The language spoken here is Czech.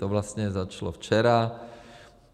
To vlastně začalo včera.